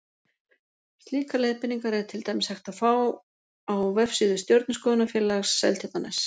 Slíkar leiðbeiningar er til dæmis hægt að fá á vefsíðu Stjörnuskoðunarfélags Seltjarnarness.